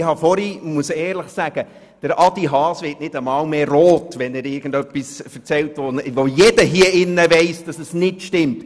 Grossrat Haas wird nicht einmal mehr rot, wenn er irgendetwas erzählt, bei dem jeder hier im Grossen Rat weiss, dass es nicht stimmt.